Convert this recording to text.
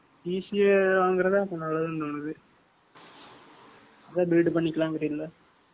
PC வாங்கறதுதான் இப்ப நல்லதுன்னு தோணுது. அதான் build பண்ணிக்கலாங்கறீங்களா?